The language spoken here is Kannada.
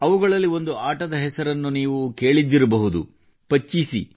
ಅವುಗಳಲ್ಲಿ ಒಂದು ಆಟದ ಹೆಸರನ್ನು ನೀವು ಕೇಳಿದ್ದಿರಬಹುದುಅದು ಪಗಡೆ